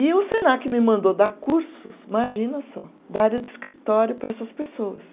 E o Senac me mandou dar cursos, imagina só, da área de escritório para essas pessoas.